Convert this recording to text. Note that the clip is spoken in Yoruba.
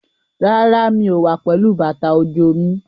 Rárá, mi ò wá pẹ̀lú bàtà òjò mi.